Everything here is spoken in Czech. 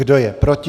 Kdo je proti?